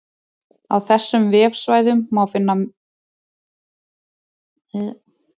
Á þessum vefsvæðum má einnig finna önnur áhugaverð og falleg gröf.